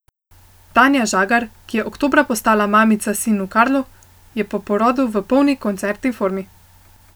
Tanja Žagar, ki je oktobra postala mamica sinu Karlu, je po porodu v polni koncertni formi.